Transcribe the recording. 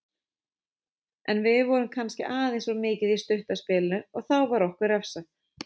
En við vorum kannski aðeins of mikið í stutta spilinu og þá var okkur refsað.